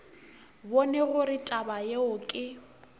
bone gore taba yeo ke